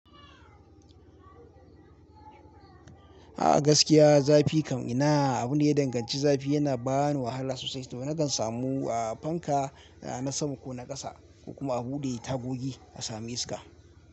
A gaskiya zafi kam ina abu ne ya danganci. Zafi yana bani wahala sosai toh na kan samu a fanka na sama ko na ƙasa ko kuma a buɗe tagogi a samu iska.